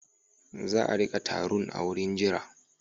Za a riƙa tarun a wurin jira.